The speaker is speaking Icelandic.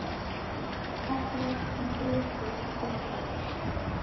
Af hverju ertu svona þrjóskur, Hervarður?